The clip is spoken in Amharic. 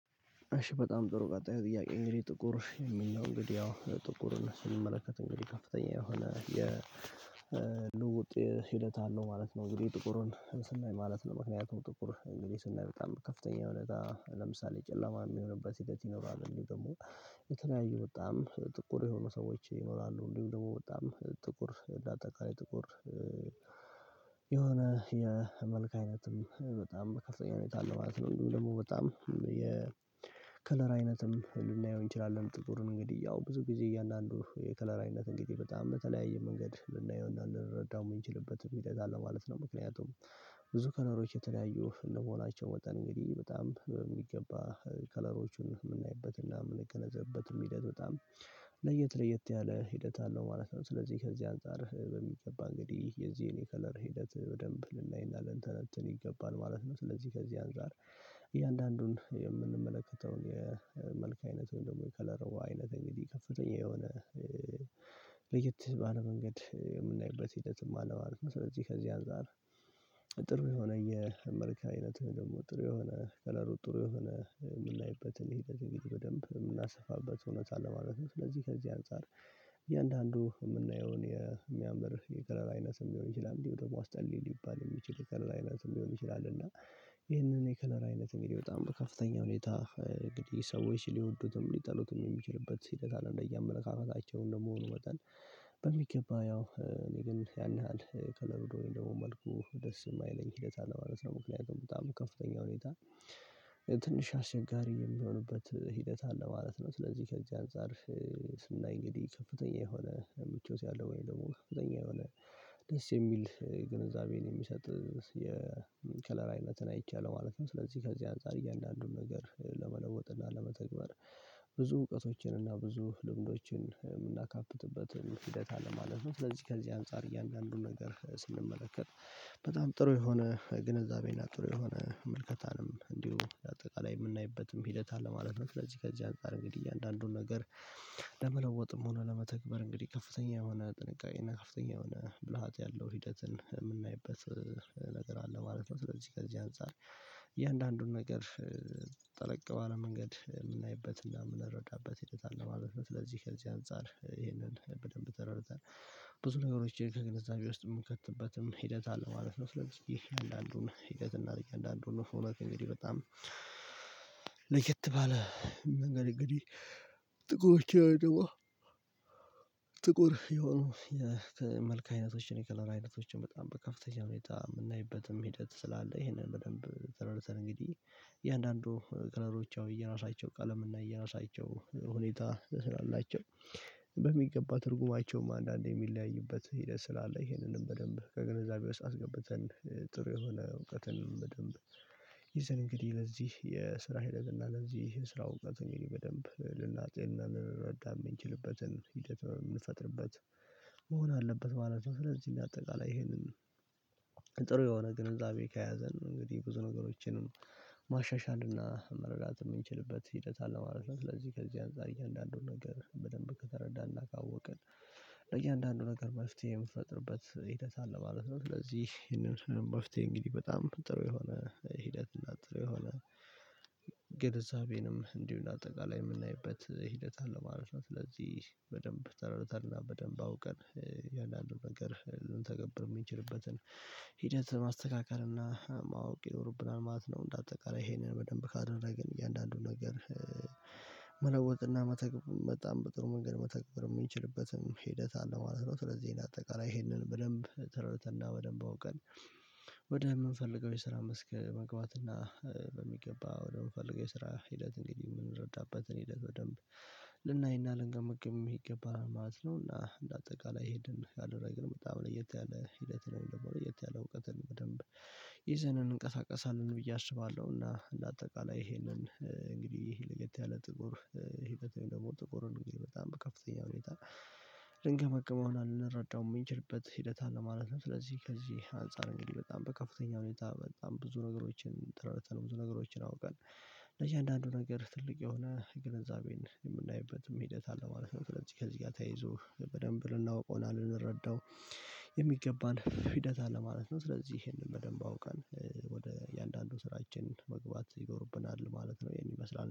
እሺ በጣም ጥሩ ቀጣይ ጥያቄ እንግዲህ ጥቁር የሚል ነው እንግዲህ ያው ጥቁርን ስንመለከት እንግዲህ ከፍተኛ የሆነ የልውጥ ሂደት አለው ማለት ነው። እንግዲህ ጥቁሩን ስናይ ማለት ነው ምክንያቱም ጥቁር እንግዲህ ስናይ በጣም ከፍተኛ የሆነ ጋር ለምሳሌ ጨለማ ሚሆንበት ሂደት ይኖራል። እንዲሁ ደግሞ የተለያዩ በጣም ጥቁር የሆኑ ሰዎች ይኖራሉ እንዲሁም ደግሞ በጣም ጥቁር እንደ አጠቃላይ ጥቁር የሆነ የመልክ አይነትም በጣም ከፍተኛ ሁኔታ አለ ማለት ነው። ደግሞ በጣም የከለር አይነትም ልናየው እንችላለን ጥቁሩን እንግዲህ ያው ብዙ ጊዜ እያንዳንዱ የከለር አይነት እንግዲህ በጣም በተለያየ መንገድ ልናየው እና ልንረዳው የምንችልበት ሁኔታ አለ ማለት ነው። ምክንያቱም ብዙ ከለሮች የተለያዩ እንደመሆናቸው መጠን እንግዲህ በጣም በሚገባ ከለሮቹን ምናይበት እና ምንገነዘብበትም ሂደት በጣም ለየት ለየት ያለ ሂደት አለው ማለት ነው። ሥለዚህ ከዚህ አንፃር በሚገባ እንግዲህ የዚህን የከለር ሂደት በደንብ ልናይ እና ልንተነተን ይገባል ማለት ነው። ሥለዚህ ከዚህ አንፃር እያንዳንዱን የምንመለከተውን አይነቱን ደግሞ የከለር አይነት እንግዲህ ከፍተኛ የሆነ ለየት ባለ መንገድ የምናይበት ሂደትም አለ ማለት ነው። ስለዚህ ከዚህ አንፃር ጥሩ የሆነ የመልክ አይነት ደግሞ ጥሩ የሆነ ከለሩ ጥሩ የሆነ የምናይበትን ሂደት በደንብ ምናሰፋበት እውነት አለ ማለት ነው። ስለዚህ ከዚህ አንፃር እያንዳንዱ ምናየውን የሚያምር የቀለር አይነትም ሊሆን ይችላል እንዲሁ ደግሞ አስጠሊ ሊባል የሚችል የከለር አይነት ሊሆን ይችላል። እና ይሄንን የከለራ አይነት እንግዲህ በጣም በከፍተኛ ሁኔታ እንግዲህ ሰዎች ሊወዱትም ሊጠሉትም የሚችልበት ሂደት አለ እንደየ አመለካከታቸውም ደግሞ መጠን። በሚገባ ያው እኔ ግን ያን ያህል ከለሩ ደግሞ መልኩ ደስ የማይለኝ ሂደት አለ ማለት ነው። ምክንያቱም በጣም ከፍተኛ ሁኔታ ትንሽ አስቸጋሪ የሚሆንበት ሂደት አለ ማለት ነው። ሥለዚህ ከዚህ አንፃር ስናይ እንግዲህ ከፍተኛ የሆነ ምቾት ያለው ወይም ደግሞ ከፍተኛ የሆነ ደስ የሚል ግንዛቤን የሚሰጥ የከለር አይነትን አይቻለሁ ማለት ነው። ሥለዚህ ከዚህ አንፃር እያንዳንዱን ነገር ለመለወጥ እና ለመተግበር ብዙ እውቀቶችን እና ብዙ ልምዶችን የምናካብትበት ሂደት አለ ማለት ነው። ስለዚህ ከዚህ አንፃር እያንዳንዱን ነገር ስንመለከት በጣም ጥሩ የሆነ ግንዛቤ እና ጥሩ የሆነ ምልከታንም እንዲሁ እንደ አጠቃላይ የምናይበትም ሂደት አለ ማለት ነው። ስለዚህ ከዚህ አንፃር እንግዲህ እያንዳንዱን ነገር ለመለወጥም ሆኖ ለመተግበር እንግዲህ ከፍተኛ የሆነ ጥንቃቄ እና ከፍተኛ የሆነ ብልሃት ያለው ሂደትን የምናይበት ነገር አለ ማለት ነው። ሥለዚህ ከዚህ አንፃር እያንዳንዱን ነገር ጠለቅ ባለ መንገድ የምናይበት እና የምንረዳበት ሂደት አለ ማለት ነው። ሥለዚህ ከዚህ አንፃር ይሄንን በደንብ ተረድተን ብዙ ነገሮችን ከግንዛቤ ውስጥ የምንከትበትም ሂደት አለ ማለት ነው። ስለዚህ የየአንዳዱን ሂደት እና አንዳንዱን እውነት እንግዲህ በጣም ለየት ባለ መንገድ እንግዲህ ጥቁሮቼ ወይም ደግሞ ጥቁር የሆኑ የመልክ አይነቶችን የከለር አይነቶችን በጣም በከፍተኛ ሁኔታ የምናይበትም ሂደት ስላለ ይሄንን በደንብ ዘርዝረን እንግዲህ የአንዳንዱ ከለሮች ያው የየራሳቸው ቀለም እና የ የራሳቸው ሁኔታ ስላላቸው በሚገባ ትርጉማቸውም አንዳንዴ የሚለያይበት ሂደት ስላለ ይሄንንም በደንብ ከግንዛቤ ውስጥ አስገብተን ጥሩ የሆነ እውቀትን በደንብ ይዘን እንግዲህ ለዚህ የስራ ሂደት እና ለዚህ የስራ እውቀት ነው በደንብ ልና ፄን ልንረዳ የምንችልበትን ሂደት የምንፈጥርበት መሆን አለበት ማለት ነው። ሥለዚህ እኔ እንደ አጠቃላይ ይሄንን ጥሩ የሆነ ግንዛቤ ከያዘን እንግዲህ ብዙ ነገሮችንም ማሻሻል እና መረዳት የምንችልበት ሂደት አለማለት ነው። ሥለዚህ ከዚህ አንፃር እያንዳዱን ነገር በደንብ ከተረዳን እና ካወቅን ለእያንዳንዱ ነገር መፍትሄ ምንፈጥርበት ሂደት አለ ማለት ነው። ሥለዚህ ይሄንን መፍትሄ እንግዲህ በጣም ጥሩ የሆነ ሂደት እና ጥሩ የሆነ የግንዘቤንም እንዲሁ እንደ አጠቃላይ የምናይበት ሂደት አለ ማለት ነው። ስለዚህ በደንብ ተረድተ እና በደንብ አውቀን የአንዳንዱ ነገር ልንተገብር የሚችልበትን ሂደት ማስተካከል እና ማወቅ ይኖርብናል ማለት ነው። እንደ አጠቃላይ ይሄንን በደንብ ካደረግን እያንዳንዱን ነገር መለወጥ እና መተግበር በጣም በጣም መንገድ መተግበር የምንችልበትም ሂደት አለ ማለት ነው። ሥለዚህ ይሄን እንደ አጠቃላይ ይሄንን በደንብ ተር ረደተን እና በደንብ አውቀን ወደ የምንፈልገው የስራ መስክ መግባት እና በሚገባ ወደምፈልገው የስራ ሂደት እንግዲህ የምንረዳበትን ሂደት በደንብ ልናይ እና ልንገምግም ይገባል ማለት ነው። እና እንደ አጠቃላይ ሄድን አደረግንም ያው ለየት ያለ ሂደት ወይም ደግሞ ለየት ያለ እውቀትን በደንብ ይዘን እንቀሳቀሳለን ብዬ አስባለሁ። እና እንደ አጠቃላይ ይሄንን እንግዲህ ይሄ ለየት ያለ ጥቁር ህይወት ደግሞ ጥቁር እንግዲህ በጣም በከፍተኛ ሁኔታ ልንገመግመው እና ልንረዳው የምንችልበት ሂደት አለ ማለት ነው። ስለዚህ ከዚህ አንፃር እንግዲህ በጣም በከፍተኛ ሁኔታ በጣም ብዙ ነገሮችን ተረድተን ብዙ ነገሮችን አውቀን ለየአንዳንዱ ነገር ትልቅ የሆነ ግንዛቤን የምናይበትም ሂደት አለማለት ነው። ሥለዚህ ከዚህ ጋር ተያይዞ በደንብ ልናውቀው እና ልንረዳው የሚገባን ሂደት አለ ማለት ነው። ሥለዚህ ይሄንን በደንብ አውቃል ወደ እያንዳንዱ ስራችን መግባት ይኖርብናል ማለት ነው። ይሄን ይመስላል